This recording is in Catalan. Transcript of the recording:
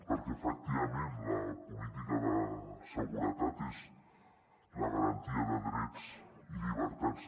perquè efectivament la política de seguretat és la garantia de drets i llibertats